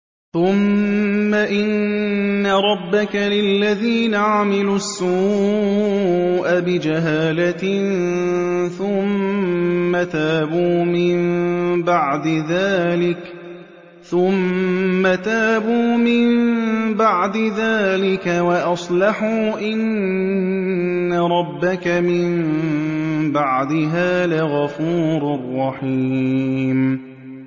ثُمَّ إِنَّ رَبَّكَ لِلَّذِينَ عَمِلُوا السُّوءَ بِجَهَالَةٍ ثُمَّ تَابُوا مِن بَعْدِ ذَٰلِكَ وَأَصْلَحُوا إِنَّ رَبَّكَ مِن بَعْدِهَا لَغَفُورٌ رَّحِيمٌ